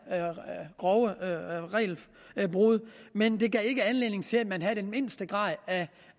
grove regelbrud men det gav ikke anledning til at man havde den mindste grad af